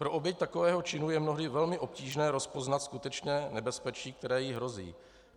Pro oběť takového činu je mnohdy velmi obtížné rozpoznat skutečné nebezpečí, které jí hrozí.